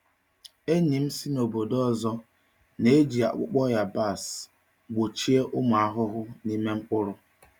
Enyi m si n’obodo ọzọ na-eji akpụkpọ yabasị gbochie ụmụ ahụhụ n’ime mkpụrụ.